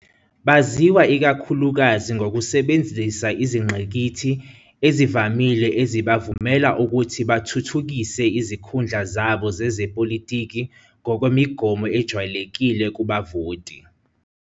Baziwa ikakhulukazi ngokusebenzisa izingqikithi ezivamile ezibavumela ukuthi bathuthukise izikhundla zabo zezepolitiki ngokwemigomo ejwayelekile kubavoti.